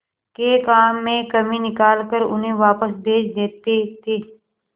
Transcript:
के काम में कमी निकाल कर उन्हें वापस भेज देते थे